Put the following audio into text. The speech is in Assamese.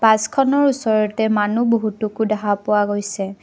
বাছখনৰ ওচৰতে মানুহ বহুটোকো দেখা পোৱা গৈছে।